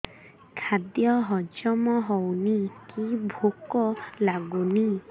ଖାଦ୍ୟ ହଜମ ହଉନି କି ଭୋକ ଲାଗୁନି